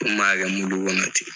U m'a kɛ mulu kɔnɔ ten